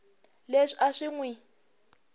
leswi a swi n wi